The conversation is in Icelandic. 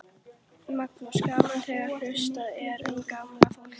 Magnús: Gaman þegar hugsað er um gamla fólkið?